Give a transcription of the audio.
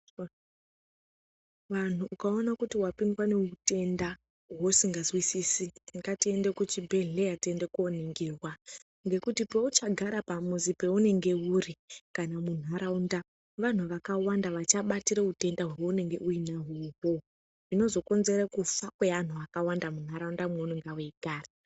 Vanhu ukaona kuti wapindwa neutenda hweusinhazwisisi, ngatiende kuchibhehleya tiende koningirwa ngekuti peuchagara pamuzi peunenge uri kana muntaraunda vanhu vakawanda vachabatira utenda hweunenge unahwo uhwohwo zvinozokonzeresa kufa kweantu akawanda muntaraunda mweunenge weigara.